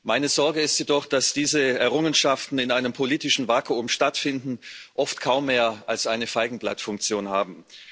Meine Sorge ist jedoch, dass diese Errungenschaften in einem politischen Vakuum stattfinden und oft kaum mehr als eine Feigenblattfunktion haben.